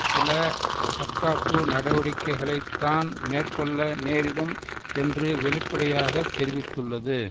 சில தற்காப்பு நடவடிக்கைகளைத்தான் மேற்கொள்ள நேரிடும் என்று வெளிப்படையாக தெரிவித்துள்ளது